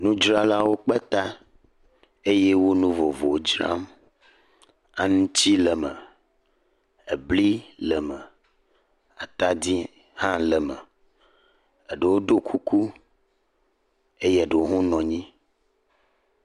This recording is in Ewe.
Nudzralawo kpe ta eye wo nu vovowo dzram. Ŋuti le eme, bli le eme, atadi hã le eme. Eɖewo ɖo kuku eye eɖewo hã nɔ anyi.